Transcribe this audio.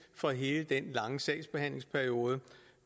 for hele den lange sagsbehandlingsperiode